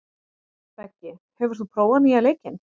Beggi, hefur þú prófað nýja leikinn?